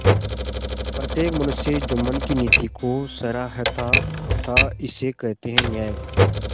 प्रत्येक मनुष्य जुम्मन की नीति को सराहता थाइसे कहते हैं न्याय